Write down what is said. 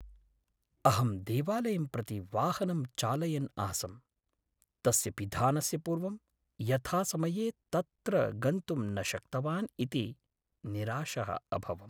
अहं देवालयं प्रति वाहनं चालयन् आसं, तस्य पिधानस्य पूर्वं यथासमये तत्र गन्तुं न शक्तवान् इति निराशः अभवम्।